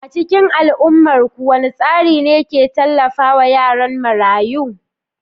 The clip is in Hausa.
A cikin al'ummarku, wane tsari ne ke tallafawa yaran marayu?